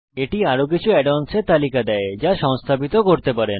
এটি আরো কিছু add অন্স এর তালিকা দেয় যা আপনি সংস্থাপিত করতে পারেন